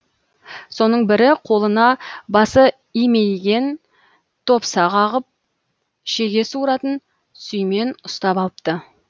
соның бірі қолына басы имейген топса қағып шеге суыратын сүймен ұстап алыпты